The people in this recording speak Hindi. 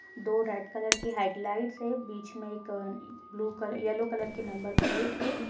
दो रेड कलर की हेडलाइट्स है बीच में एक ब्लू येलो कलर की नंबर प्लेट है।